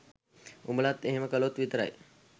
උඹලත් එහෙම කලොත් විතරයි